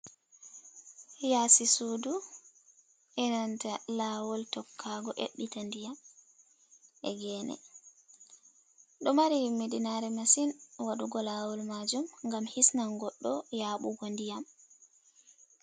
Yaasi sudu, enanta lawol tokkaago ƴaɓɓita ndiyam, e geene. Ɗo mari himmiɗinare masin waɗugo lawol majum ngam hisnan goɗɗo yaaɓugo ndiyam.